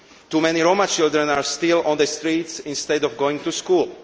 Too many Roma children are still on the streets instead of going to school.